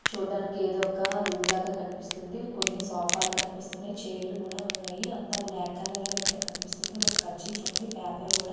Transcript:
చుడానికి ఏదో ఒక రూమ్ లాగా కనిపిస్తుంది కొన్ని సోఫాలు కనిపిస్తున్నాయి ఛైర్లు లు కూడా ఉన్నాయి అంత బ్లాక్ కలర్ లో అయితే కనిపిస్తుంది ఒక కర్చీఫ్ అయితే ఉంది పేపర్ కూడా--